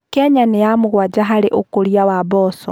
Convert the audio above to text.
Kenya nĩ ya mũgwanja harĩ ũkũria wa mboco.